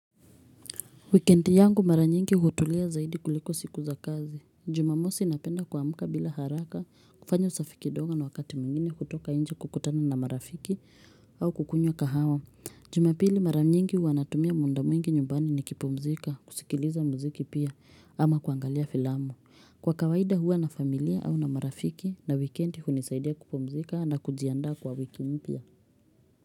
Weekend yangu mara nyingi hutulia zaidi kuliko siku za kazi. Jumamosi napenda kuamuka bila haraka kufanya usafi kidogo na wakati mwingine kutoka inje kukutana na marafiki au kukunywa kahawa. Jumapili mara nyingi huwa natumia munda mwingi nyumbani ni kipumzika, kusikiliza mziki pia ama kuangalia filamu. Kwa kawaida huwa na familia au na marafiki na wikendi hunisaidia kupumzika na kujiandaa kwa wiki mpya.